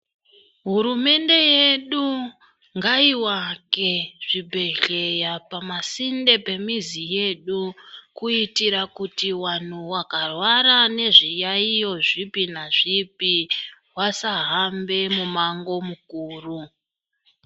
Hurumende yedu ngaiwake zvibhehleya pamasinde pemizi yedu kuitira kuti vanhu vakarwara nezviyaiyo zvipi nazvipi vasahambe mumango mukuru.